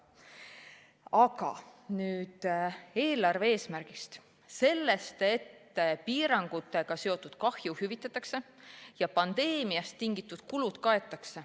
Aga nüüd eelarve eesmärgist, sellest, et piirangutega seotud kahju hüvitatakse ja pandeemiast tingitud kulud kaetakse.